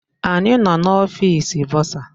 Anyị nọ n'ọfịs bọsa